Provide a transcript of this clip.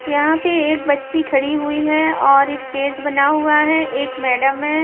यहां पे एक बच्ची खड़ी हुई है और स्टेज बना हुआ है एक मैडम है।